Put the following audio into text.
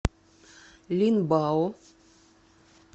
линбао